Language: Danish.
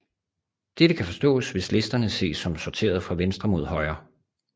Dette kan forstås hvis listerne ses som sorteret fra venstre mod højre